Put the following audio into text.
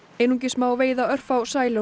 einungis má veiða örfá